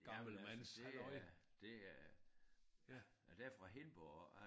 Jamen det er det er er det er fra Hindborg og